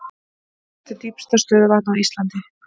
Hvert er dýpsta stöðuvatn á Íslandi?